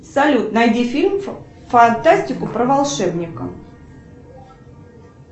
салют найди фильм фантастику про волшебника